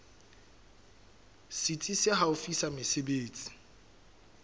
setsi se haufi sa mesebetsi